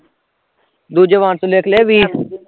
ਦੂਜੇ ਬਾਂਸ ਲਿਖਲੇ ਵੀਹ